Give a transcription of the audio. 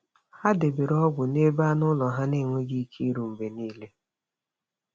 Ha debere ọgwụ n’ebe anụ ụlọ ha enweghị ike iru mgbe niile.